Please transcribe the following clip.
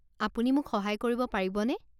আপুনি মোক সহায় কৰিব পাৰিবনে?